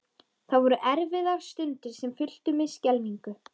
Það voru erfiðar stundir sem fylltu mig skelfingu.